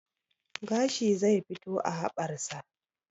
Gashi zai fito a haɓar sa